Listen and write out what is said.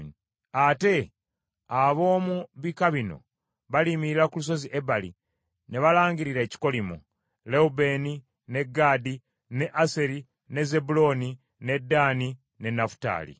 Ate ab’omu bika bino baliyimirira ku Lusozi Ebali ne balangirira ebikolimo: Lewubeeni, ne Gaadi, ne Aseri, ne Zebbulooni, ne Ddaani, ne Nafutaali.